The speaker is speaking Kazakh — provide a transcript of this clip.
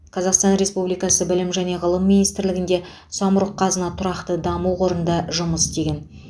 қазақстан республикасы білім және ғылым министрлігінде самұрық қазына тұрақты даму қорында жұмыс істеген